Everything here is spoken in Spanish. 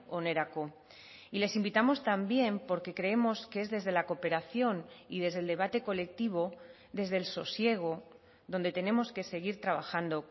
onerako y les invitamos también porque creemos que es desde la cooperación y desde el debate colectivo desde el sosiego donde tenemos que seguir trabajando